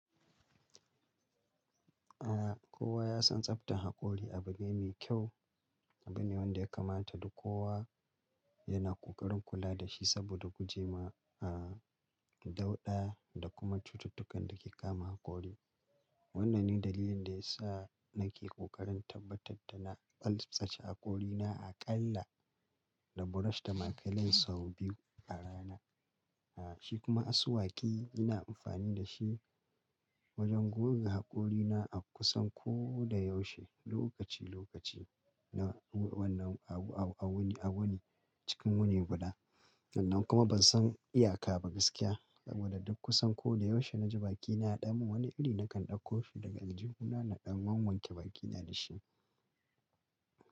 Ah, kowa ya san tsaftar haƙori abu ne mai kyau, abu ne wanda ya kamata duk kowa. Yana ƙoƙarin kula da shi saboda gujema, a, dauɗa da kuma cututtukan da ke kama haƙori. Wannan ne dalilin da ya sa nake ƙoƙarin tabbatar da na tsaftace haƙorina aƙalla. Da brush da maclean biyu a rana. Shi kuma asuwaki ina amfani da shi wajen goge haƙorina a kusan ko da yaushe, lokaci-lokaci na wannan a wuni, cikin wuni guda. Nan kuma ban son iyaka ba gaskiya saboda duk kusan ko da yaushe na ji bakina a ɗan mun wani iri nakan ɗauko shi daga aljihuna na ɗan wanke bakina da shi.